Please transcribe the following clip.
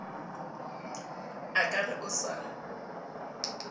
a ka re o sa